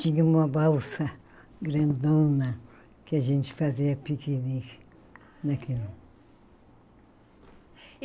Tinha uma balsa grandona que a gente fazia piquenique naquilo.